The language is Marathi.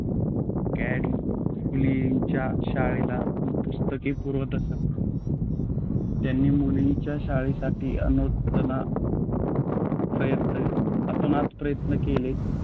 कॅंडी फुलेंच्या शाळेला पुस्तके पुरवत असत त्यांनी मुलींच्या शिक्षणासाठी अतोनात अतोनात प्रयत्न केले.